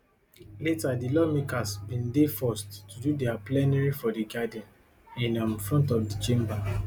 later di lawmakers bin dey forced to do dia plenary for di garden in um front of di chamber